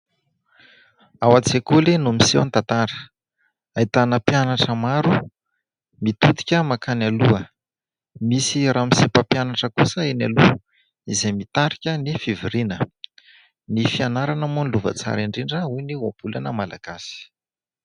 Ao an-tsekoly no miseho ny tantara. Ahitana mpianatra maro mitodika mankany aloha. Misy ramose mpapianatra kosa eny aloha izay mitarika ny fivoriana. Ny fianarana moa no lova tsara indrindra hoy ny ohabolana malagasy.